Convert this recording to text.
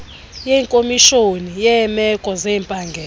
kwekomishoni yeemeko zempangelo